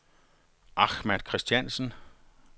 Ahmad Christiansen